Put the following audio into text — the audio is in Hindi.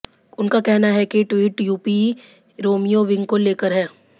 उनका कहना है कि ये ट्वीट यूपी रोमियो विंग को लेकर है